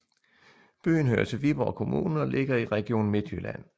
Byen hører til Viborg Kommune og ligger i Region Midtjylland